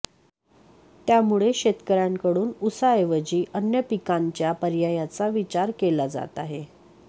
त्यामुळे शेतकऱ्यांकडून ऊसाऐवजी अन्य पिकांच्या पर्यायाचा विचार केला जात आहे